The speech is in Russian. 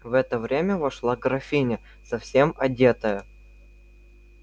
в это время вошла графиня совсем одетая